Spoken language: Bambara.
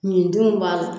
Nin denw b'a la